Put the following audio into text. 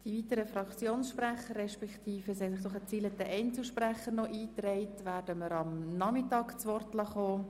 Die weiteren Voten werden wir am Nachmittag hören.